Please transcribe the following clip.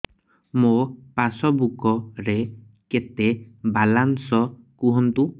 ମୋ ପାସବୁକ୍ ରେ କେତେ ବାଲାନ୍ସ କୁହନ୍ତୁ